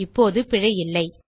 இப்போது பிழை இல்லை